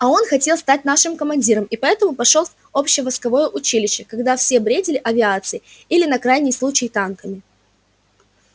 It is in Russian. а он хотел стать нашим командиром и поэтому пошёл в общевойсковое училище когда все бредили авиацией или на крайний случай танками